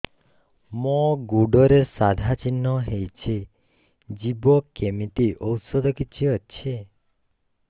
ମୋ ଗୁଡ଼ରେ ସାଧା ଚିହ୍ନ ହେଇଚି ଯିବ କେମିତି ଔଷଧ କିଛି ଅଛି